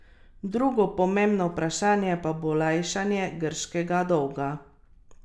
Drugo pomembno vprašanje pa bo lajšanje grškega dolga.